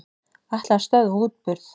Ætla að stöðva útburð